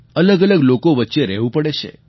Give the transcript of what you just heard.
અલગઅલગ લોકો વચ્ચે રહેવું પડે છે